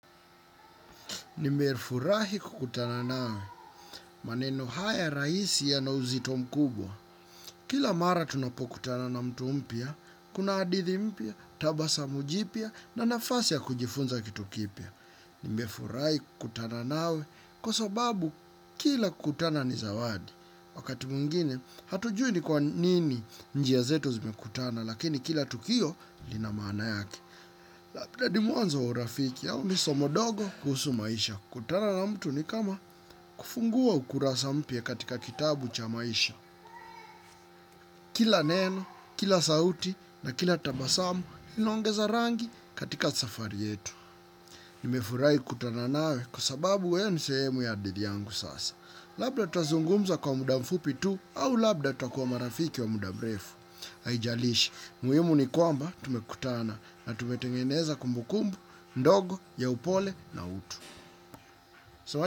Nimefurahi kukutana nawe, maneno haya rahisi yanauzito mkubwa. Kila mara tunapokutana na mtu mpya, kuna hadithi mpya, tabasamu jipya na nafasi ya kujifunza kitu kipya. Nimefurahi kukutana nawe, kwa sababu kila kukutana ni zawadi. Wakati mwingine, hatujui ni kwa nini njia zetu zimekutana, lakini kila tukio linamaana yake. Labda ni mwanzo wa urafiki au misomo dogo kuhusu maisha. Kutana na mtu ni kama kufungua ukurasa mpya katika kitabu cha maisha. Kila neno, kila sauti na kila tabasamu inaongeza rangi katika safari yetu. Nimefurahi kutana nawe kwa sababu wewe nisehemu ya hadithi yangu sasa. Labda tutazungumza kwa muda mfupi tu au labda tutakuwa marafiki wa muda mrefu. Haijalishi, muhimu ni kwamba tumekutana na tumetengeneza kumbukumbu, ndogo ya upole na utu.